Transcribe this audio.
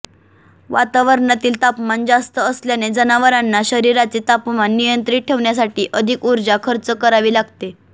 वातावरणातील तापमान जास्त असल्याने जनावरांना शरीराचे तापमान नियंञित ठेवण्यासाठी अधिक ऊर्जा खर्च करावी लागते